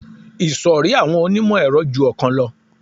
Ìṣòrí àwọn onímọ̀-ẹ̀rọ ju ọ̀kan lọ